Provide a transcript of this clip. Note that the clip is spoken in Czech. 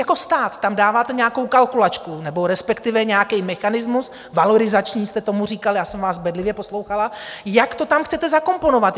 Jako stát tam dáváte nějakou kalkulačku nebo respektive nějaký mechanismus - valorizační jste tomu říkali, já jsem vás bedlivě poslouchala - jak to tam chcete zakomponovat?